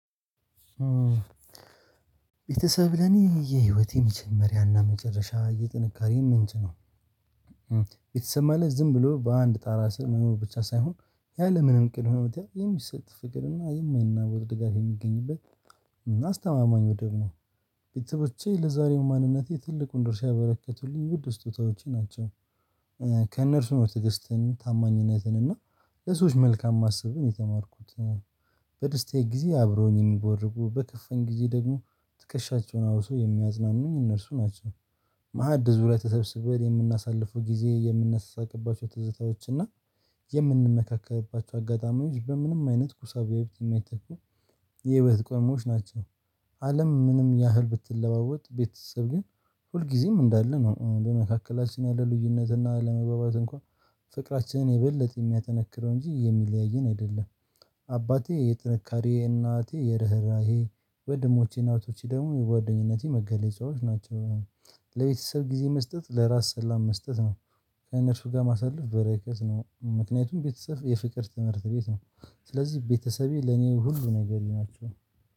ቤተሰብ ለኔ የህይወቴ መጀመሪያና መጨረሻ የጥንካሬ ምንጭ ነው። ቤተሰብ ማለት ዝም ብሎ በአንድ ጣራ ስር መሆኑ ብቻ ሳይሆን ያለምንም ቅድም የሚሰጥ ፍቅርና የማይናወጥ ድጋፍ የሚገኝበት እና አስተማማኝ ነው። ደሞ ቤተሰቦቼ ለዛሬው ማንነቴ ትልቁን ድርሻ ያበረከቱልኝ ውድ ስጦታዎቼ ናቸው። ከእነርሱ ነው ትግስትን ታማኝነትን እና ለሰዎች መልካም ማሰብን የተማርኩት ነው። በደስታዬ ጊዜ አብሮኝ የሚቦርቁ በከፋኝ ጊዜ ደግሞ ትከሻቸውን አውሰው የሚያዝናኑኝ እነርሱ ናቸው። መዓድ ዙሪያ ላይ ተሰብስበን የምናሳልፈው ጊዜ የምናሳቅባቸው ትዝታዎች እና የምንመካከርባቸው አጋጣሚዎች በምንም አይነት ሂሳብ ቢያዩት የማይተኩ የህይወት ቅመሞች ናቸው። አለም ምንም ያህል ብትለዋወጥ ቤተሰብ ግን ሁልጊዜም እንዳለ ነው በመካከላችን ያለ ልዩነት እና አለመግባባት እንኳን ፍቅራችንን የበለጠ የሚያጠነክረው እንጂ የሚለያየን አይደለም። አባቴ የጥንካሬ እናቴ የርህራሄ ወደሞቼ ና እህቶቼ ደግሞ የጓደኝነቴ መገለጫዎች ናቸው። ለቤተሰብ ጊዜ መስጠት ለራስ ሰላም መስጠት ነው። ከነርሱ ጋር ማሳለፍ በረከት ነው ምክንያቱም ቤተሰብ የፍቅር ትምህርት ቤት ነው። ስለዚህ ቤተሰቤ ለኔ ሁሉ ነገሬ ናቸው